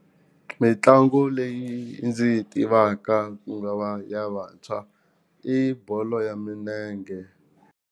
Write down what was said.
Mintlangu leyi ndzi yi tivaka ku nga va ya vantshwa i bolo ya minenge.